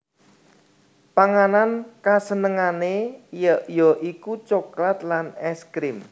Panganan kasenengané ya iku coklat lan ès krim